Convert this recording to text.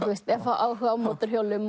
eða fá áhuga á mótorhjólum